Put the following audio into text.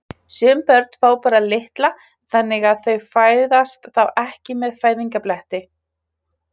Sum börn fá bara litla þannig að þau fæðast þá ekki með fæðingarbletti.